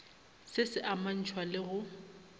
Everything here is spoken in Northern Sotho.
se se amantšhwa le go